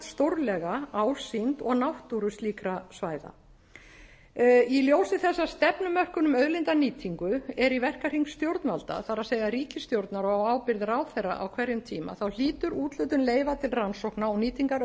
stórlega ásýnd og náttúru slíkra svæða í ljósi þess að stefnumörkun um auðlindanýtingu er í verkahring stjórnvalda það er ríkisstjórnar á ábyrgð ráðherra á hverjum tíma þá hlýtur úthlutun leyfa til rannsókna og nýtingar